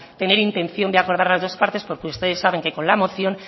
tener intención de acordar las dos partes porque ustedes saben que con la moción